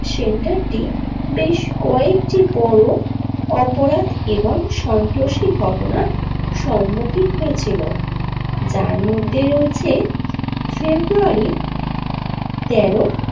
সেন্টারটি বেশ কয়েক বড়ো অপরাধ এবং সন্ত্রাসী ঘটনার সমুখীন হয়েছিল যার মধ্যে রয়েছে ফেব্রয়ারি তেরো।